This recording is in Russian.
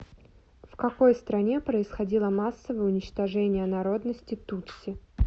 в какой стране происходило массовое уничтожение народности тутси